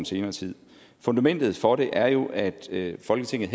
senere tid fundamentet for det er jo at folketinget